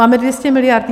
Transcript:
Máme 200 mld.